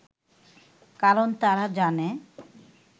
কারণ তারা জানে